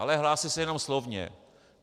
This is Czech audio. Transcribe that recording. Ale hlásí se jenom slovně.